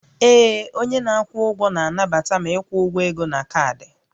Ee, onye na-akwụ ụgwọ na-anabata ma ịkwụ ụgwọ ego na kaadị